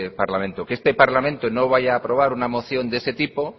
parlamento que este parlamento no vaya a aprobar una moción de ese tipo